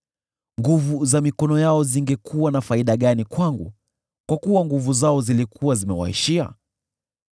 Nguvu za mikono yao zingekuwa na faida gani kwangu, kwa kuwa nguvu zao zilikuwa zimewaishia?